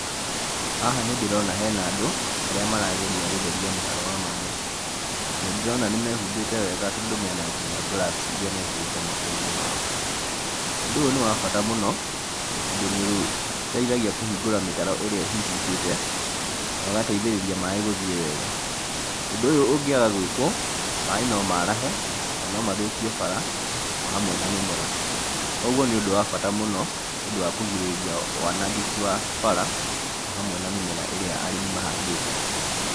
Haha nĩ ndĩrona hena andũ arĩa marageria gũtheria mũtaro wa maaĩ, na nĩndĩrona nĩmehumbĩte wega tondũ mena nginya gloves iria mekĩrĩte mokoinĩ maao. Ũndũ ũyũ nĩwabata mũno tondũ nĩũteithagia kũhingũra mĩtaro ĩrĩa ĩhingĩkĩte no gateithĩrĩria maaĩ gũthiĩ wega. Ũndũ ũyu ũngĩaga gwĩkwo maaĩ no marahe na no mathũkie bara o hamwe na mĩmera. Koguo nĩũndũ wa bata mũno nĩũndũ wa kũgirĩrĩria wanangĩki wa bara o hamwe na mĩmera ĩrĩa arĩmi mahandĩte.